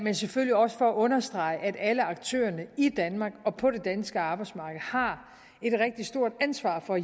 er selvfølgelig også for at understrege at alle aktørerne i danmark og på det danske arbejdsmarked har et rigtig stort ansvar for